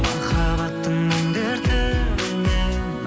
махаббаттың мұң дертінен